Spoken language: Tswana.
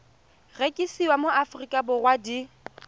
rekisiwa mo aforika borwa di